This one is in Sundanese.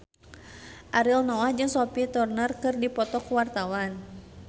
Ariel Noah jeung Sophie Turner keur dipoto ku wartawan